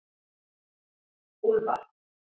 Úlfar